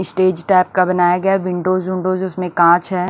Stage type का बनाया गया है विंडोज विंडोज उसमें कांच है।